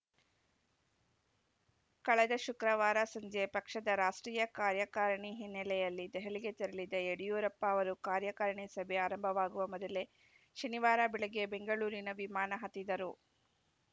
ಕಳೆದ ಶುಕ್ರವಾರ ಸಂಜೆ ಪಕ್ಷದ ರಾಷ್ಟ್ರೀಯ ಕಾರ್ಯಕಾರಿಣಿ ಹಿನ್ನೆಲೆಯಲ್ಲಿ ದೆಹಲಿಗೆ ತೆರಳಿದ್ದ ಯಡಿಯೂರಪ್ಪ ಅವರು ಕಾರ್ಯಕಾರಿಣಿ ಸಭೆ ಆರಂಭವಾಗುವ ಮೊದಲೇ ಶನಿವಾರ ಬೆಳಗ್ಗೆ ಬೆಂಗಳೂರಿನ ವಿಮಾನ ಹತ್ತಿದ್ದರು